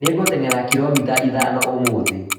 Nĩngũteng'era kiromita ithano ũmũthĩ